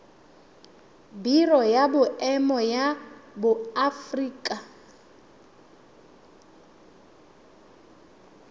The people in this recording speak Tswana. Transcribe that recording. biro ya boemo ya aforika